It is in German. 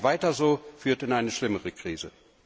Ein Weiter so führt in eine noch schlimmere Krise.